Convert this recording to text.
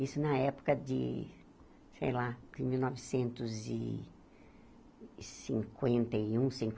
Isso na época de, sei lá, de mil novecentos e cinquenta e um,